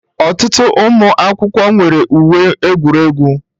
Ọtụtụ ụmụ akwụkwọ nwere uwe egwuregwu